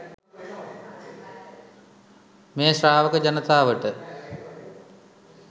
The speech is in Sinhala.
මේ ශ්‍රාවක ජනතාවට